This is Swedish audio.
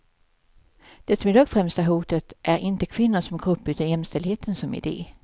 Det som i dag främst är hotat är inte kvinnor som grupp utan jämställdheten som idé.